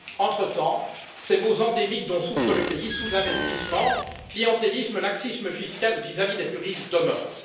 Entretemps, les maux endémiques dont souffre le pays sous investissement, clientélisme et laxisme fiscal vis à vis des plus riches demeurent.